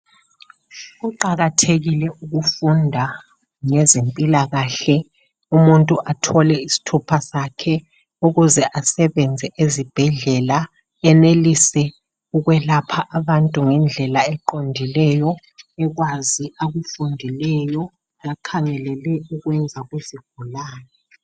Kuqakathekile ukufunda ngezempilakahle umuntu athole isithupha sakhe ukuze asebenze ezibhedlela enelise ukwelapha abantu ngendlela eqondileyo ekwazi akufundileyo akhangelele ukukwenza kuzigulane.